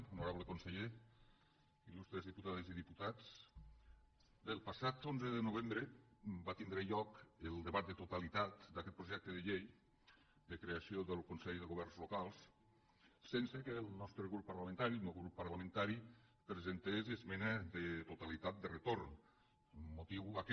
honorable conseller il·lustres diputades i diputats bé el passat onze de novembre va tindre lloc el debat de totalitat d’aquest projecte de llei de creació del consell de governs locals sense que el nostre grup parlamentari el meu grup parlamentari presentés esmena de totalitat de retorn motiu aquest